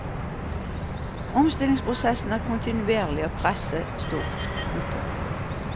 Omstillingsprosessen er kontinuerlig og presset stort. punktum